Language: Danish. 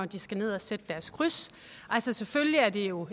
de skal ned og sætte deres kryds selvfølgelig er det jo